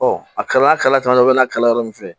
a kala caman bɛ n'a kala yɔrɔ min fɛ